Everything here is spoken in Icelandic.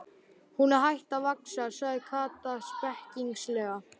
Hún er hætt að vaxa! sagði Kata spekings- lega.